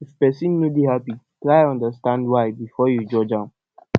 if pesin no dey happy try understand why before you judge am